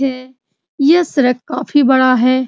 है यह सड़क काफी बड़ा है।